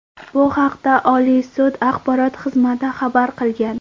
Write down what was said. Bu haqda Oliy sud axborot xizmati xabar qilgan .